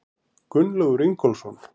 Gunnlaugur Ingólfsson.